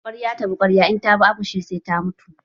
Kwarya ta bi kwarya, in ta bi akoshi sai ta mutu.